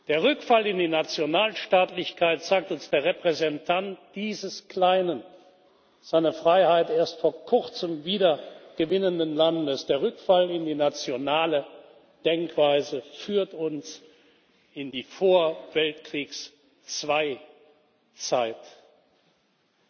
Der Rückfall in die Nationalstaatlichkeit sagt uns der Repräsentant dieses kleinen, seine Freiheit erst vor kurzem wieder gewinnenden Landes der Rückfall in die nationale Denkweise führt uns in die Vorkriegszeit des Zweiten Weltkriegs.